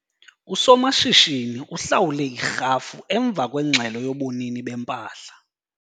Usomashishini uhlawule irhafu emva kwengxelo yobunini bempahla.